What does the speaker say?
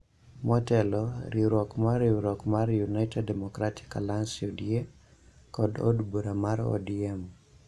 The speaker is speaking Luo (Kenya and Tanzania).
Motelo, riwruok mar riwruok mar United Democratic Alliance (UDA) kod od bura mar ODM